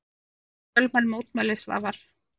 Voru þetta fjölmenn mótmæli Svavar?